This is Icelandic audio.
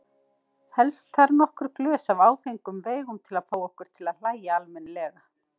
Helst þarf nokkur glös af áfengum veigum til að fá okkur til að hlæja almennilega.